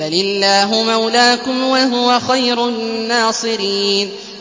بَلِ اللَّهُ مَوْلَاكُمْ ۖ وَهُوَ خَيْرُ النَّاصِرِينَ